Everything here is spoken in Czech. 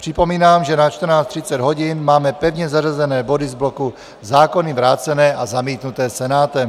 Připomínám, že na 14.30 hodin máme pevně zařazené body z bloku zákony vrácené a zamítnuté Senátem.